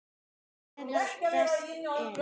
Meðal þess er